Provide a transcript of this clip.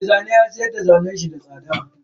Me zanen ya siyarda zanen da yayi da tsada.